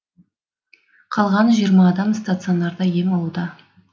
қалған жиырма адам стационарда ем алуда